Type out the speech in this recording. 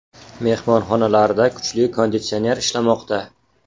Mehmonxonalarda kuchli konditsionerlar ishlamoqda.